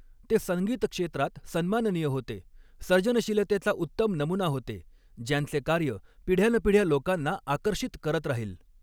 ते संगीत क्षेत्रात सन्माननीय होते, सर्जनशीलतेचा उत्तम नमुना होते ज्यांचे कार्य पिढ्यानपिढ्या ल़ोकांना आकर्षित करत राहील.